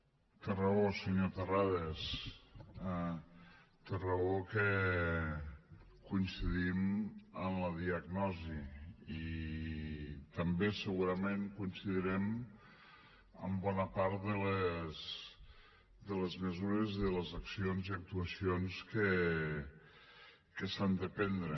te raó senyor terrades té raó que coincidim en la diagnosi i també segurament coincidirem amb bona part de les mesures i de les accions i actuacions que s’han de prendre